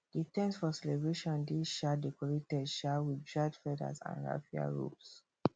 the ten t for celebration dey um decorated um with dried feathers and raffia ropes